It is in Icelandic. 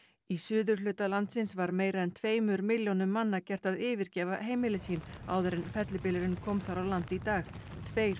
í suðurhluta landsins var meira en tveimur milljónum manna gert að yfirgefa heimili sín áður en fellibylurinn kom þar á land í dag tveir